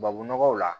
Babunɔgɔw la